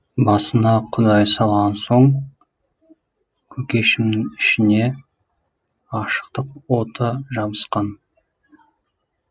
басыңа құдай салған соң көкешімнің ішіне ғашықтық оты жабысқан